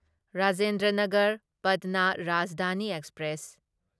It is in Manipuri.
ꯔꯥꯖꯦꯟꯗ꯭ꯔ ꯅꯒꯔ ꯄꯠꯅꯥ ꯔꯥꯖꯙꯥꯅꯤ ꯑꯦꯛꯁꯄ꯭ꯔꯦꯁ